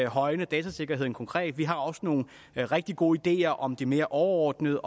højne datasikkerheden konkret vi har også nogle rigtig gode ideer om det mere overordnede